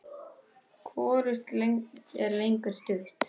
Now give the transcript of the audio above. Hvorugt er lengur stutt.